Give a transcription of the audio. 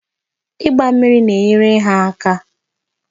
Ịgba mmiri na-enyere ha aka.